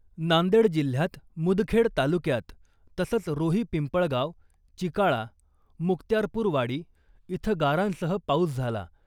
नांदेड जिल्ह्यात मुदखेड तालुक्यात तसंच रोही पिंपळगाव , चिकाळा , मुक्त्यारपूरवाडी इथं गारांसह पाऊस झाला .